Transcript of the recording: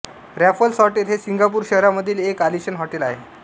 Raffles hotel हे Singapore शहरामधील एक आलिशान हॉटेल आहे